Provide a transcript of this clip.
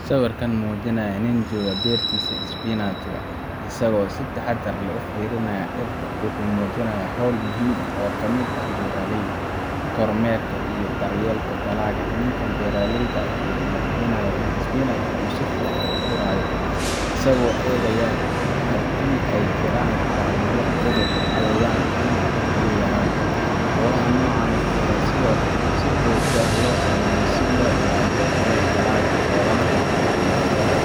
Sawirka muujinaya nin jooga beertiisa isbinaajka , isagoo si taxaddar leh ugu fiirsanaya dhirta, wuxuu muujinayaa hawl muhiim ah oo ka mid ah beeralayda kormeerka iyo daryeelka dalagga. Ninka beeraleyda ahi wuxuu hubinayaa in isbinaajka uu si fiican u korayo, isagoo eegaya haddii ay jiraan calaamado cudur, cayayaan, ama biyo yaraan. Hawlaha noocan ah ayaa ah kuwo si joogto ah loo sameeyo si loo ilaaliyo tayada dalagga, loogana hortago waxyeelo